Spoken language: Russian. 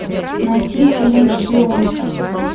найти фильм шпионка